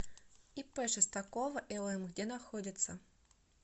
ип шестакова лм где находится